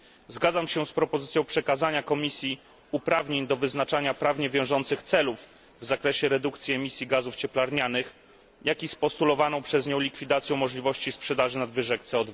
Zgadzam się z propozycją przekazania Komisji uprawnień do wyznaczania prawnie wiążących celów w zakresie redukcji emisji gazów cieplarnianych, jak i z postulowaną przez nią likwidacją możliwości sprzedaży nadwyżek CO